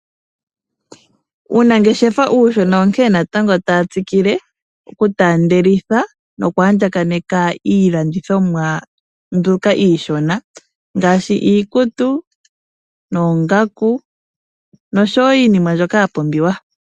Uunangeshefa uushona onkene natango tawu tsikile okutaandelitha nokwaandjakaneka iilandithomwa mbyoka iishona ngaashi iikutu, oongaku noshowoo iinima mbyoka yapumbiwa.